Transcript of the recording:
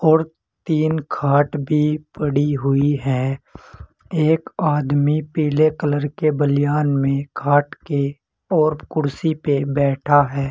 और तीन खाट भी पड़ी हुई है। एक आदमी पीले कलर के बलियान में खाट के और कुर्सी पे बैठा है।